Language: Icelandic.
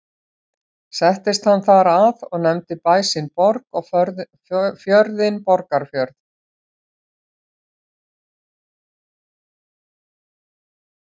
Settist hann þar að og nefndi bæ sinn Borg og fjörðinn Borgarfjörð.